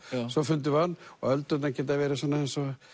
svo fundum við hann og öldurnar geta verið eins og